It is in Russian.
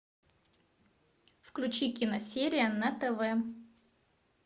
включи киносерия на тв